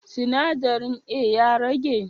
Sinadarin A ya rage?